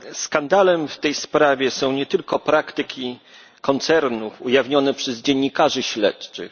Skandalem w tej sprawie są nie tylko praktyki koncernów ujawnione przez dziennikarzy śledczych.